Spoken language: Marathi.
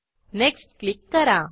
नेक्स्ट क्लिक करा